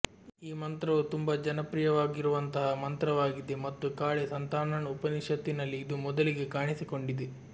ಈ ಮಂತ್ರವು ತುಂಬಾ ಜನಪ್ರಿಯವಾಗಿರುವಂತಹ ಮಂತ್ರವಾಗಿದೆ ಮತ್ತು ಕಾಳಿ ಸಂತಾನಣ್ ಉಪನಿಷತ್ ನಲ್ಲಿ ಇದು ಮೊದಲಿಗೆ ಕಾಣಿಸಿಕೊಂಡಿದೆ